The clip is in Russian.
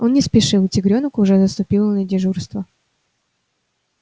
он не спешил тигрёнок уже заступила на дежурство